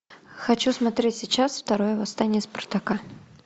хочу смотреть сейчас второе восстание спартака